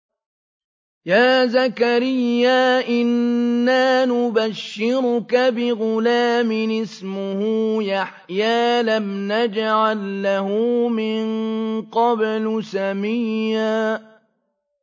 يَا زَكَرِيَّا إِنَّا نُبَشِّرُكَ بِغُلَامٍ اسْمُهُ يَحْيَىٰ لَمْ نَجْعَل لَّهُ مِن قَبْلُ سَمِيًّا